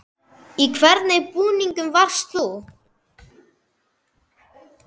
Í hvernig búningi varst þú?